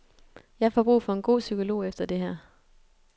Jeg får brug for en god psykolog efter det her.